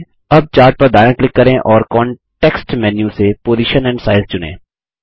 अब चार्ट पर दायाँ क्लिक करें और कॉन्टेक्स्ट मेन्यू से पोजिशन एंड साइज चुनें